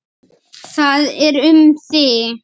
Það er um þig.